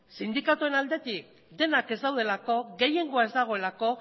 sindikatuen aldetik denak ez daudelako gehiengoa ez dagoelako